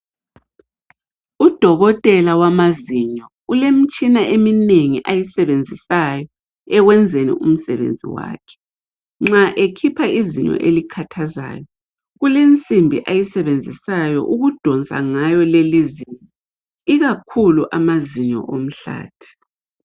Udokotela wamazinyo ulemitshina eminengi ayisebenzisayo ekwenzeni umsebenzi wakhe. Nxa ekhipha izinyo elikhathazayo kulensimbi ayisebenzisayo ukudonsa ngayo leli zinyo ikakhulu amazinyo omhlathi.